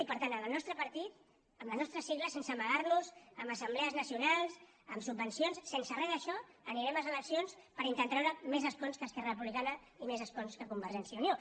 i per tant el nostre partit amb les nostres sigles sense amagar nos en assemblees nacionals amb subvencions sense res d’això anirem a les eleccions per intentar treure més escons que esquerra republicana i més escons que convergència i unió